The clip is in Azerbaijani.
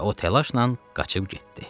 Və o təlaşla qaçıb getdi.